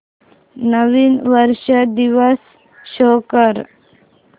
नवीन वर्ष दिवस शो कर